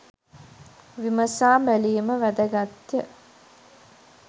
විමසා බැලීම වැදගත්ය